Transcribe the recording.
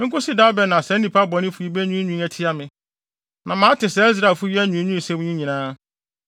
“Enkosi da bɛn na saa nnipa bɔnefo yi benwiinwii atia me? Na mate saa Israelfo yi anwiinwiisɛm yi nyinaa.